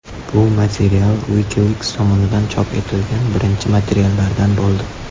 Bu material WikiLeaks tomonidan chop etilgan birinchi materiallardan bo‘ldi.